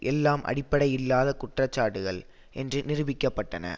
எல்லாம் அடிப்படையில்லாத குற்றச்சாட்டுகள் என்று நிரூபிக்கப்பட்டன